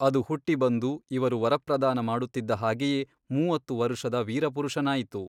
ಅದು ಹುಟ್ಟಿ ಬಂದು ಇವರು ವರಪ್ರದಾನ ಮಾಡುತ್ತಿದ್ದ ಹಾಗೆಯೇ ಮೂವತ್ತು ವರುಷದ ವೀರಪುರುಷನಾಯಿತು.